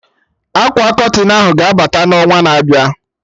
Akwa Kọtịn ahụ ga-abata n'ọnwa na-abịa